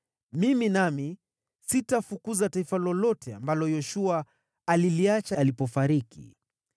mimi nami sitafukuza taifa lolote ambalo Yoshua aliliacha alipofariki.